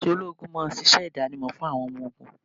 Aṣọ ológun máa ń ṣíṣe idanimo fún àwọn ọmọ ogún.